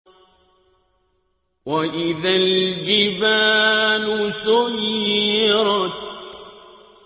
وَإِذَا الْجِبَالُ سُيِّرَتْ